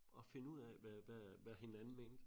At finde ud af hvad hvad hvad hinanden mente